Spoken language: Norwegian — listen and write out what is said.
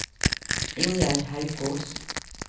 Ingjerd Haukås